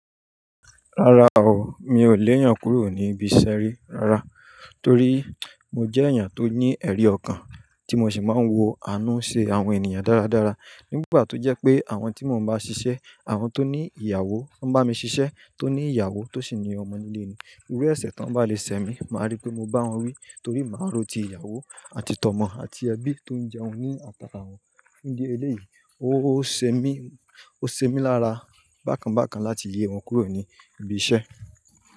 Rárá o, mi ò lè yàn kúrò ní ibi ìṣẹ rí rárá, torí mo jẹ́ èèyàn tó ní ẹrí ọkàn, tí mo sì máa ń wo àánú ṣe àwọn ènìyàn dáradára. Nígbà tó jẹ́ pé àwọn tí mo bá ṣiṣẹ́, àwọn tó ní ìyàwó ń bá mi ṣiṣẹ́, tó ní ìyàwó tó sì ní ọmọ nílé irú èṣẹ̀ tó ń bá le sẹ mí, máa rí pé mo bá wọn wí torí màá ròó ti ìyàwó àti tọmọ àti ẹbí tó ń jẹun ní atàka wọn. Fún ìdí ẹlẹ́yìí, ó ṣe mí, ó ṣe mí lára bákan bákan láti yẹ wọn kúrò ní ibi iṣẹ́.